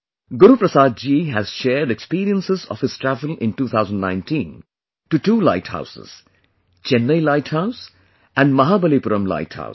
Guru Prasad ji has shared experiences of his travel in 2019 to two light houses Chennai light house and Mahabalipuram light house